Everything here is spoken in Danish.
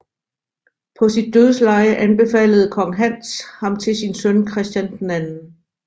På sit dødsleje anbefalede kong Hans ham til sin søn Christian II